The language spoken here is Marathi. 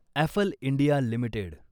Affle India limited